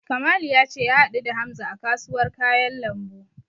Kamalu ya ce ya haɗu da Hamza a kasuwar kayan lambu.